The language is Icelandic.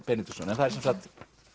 Benediktsson það er sem sagt